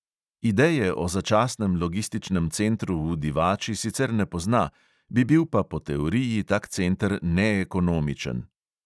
Ideje o začasnem logističnem centru v divači sicer ne pozna, bi bil pa po teoriji tak center neekonomičen.